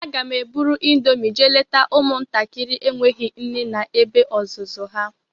Aga m eburu índomi jee leta ụmụ ntakịrị enweghị nne na ebe ọzụzụ ha.